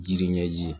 Jiri ɲɛji ye